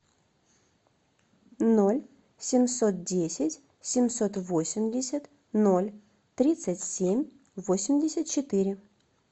ноль семьсот десять семьсот восемьдесят ноль тридцать семь восемьдесят четыре